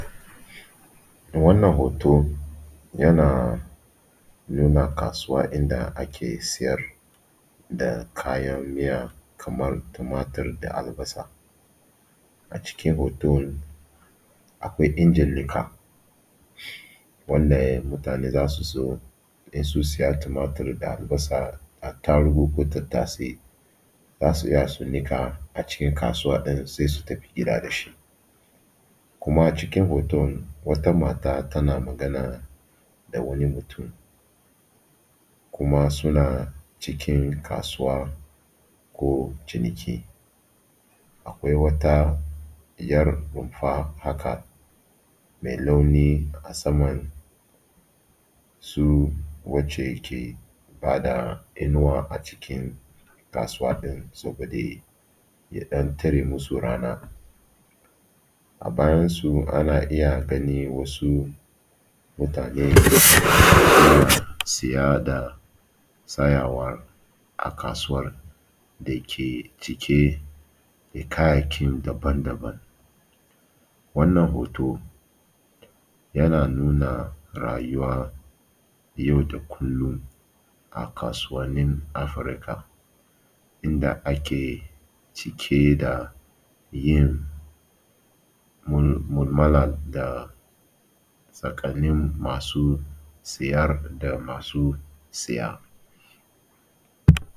Wannan hoto yana nuna kasuwa inda ake siyar da kayan miya kamar tumatur da albasa. Acikin hoton akwai injin niƙa, wanda mutane za su zo in sun siya tumatur da albasa, attarugu ko tattasai za su iya su niƙa cikin kasuwa ɗin sai su tafi gida da shi. Kuma cikin hoton wata mata tana magana da wani mutum kuma suna cikin kasuwa ko ciniki, akwai wata ’yar rumfa haka mai launi a saman su wacce ke ba da inuwa a cikin kasuwa ɗin saboda ya ɗan tare musu rana. A bayansu ana iya ganin wasu mutane suna siya da sayawa a kasuwan dake cike da kayayyaki daban-daban. Wannan hoto yana nuna rayuwa yau da kullum a kasuwannin Afirka inda ake cike da yin mul mu’amala tsakanin masu siyar da masu saya.